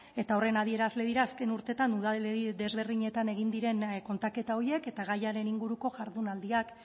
eta horren adierazle dira azken urteetan udalerri ezberdinetan egin diren kontaketa horiek eta gaiaren inguruko jardunaldiak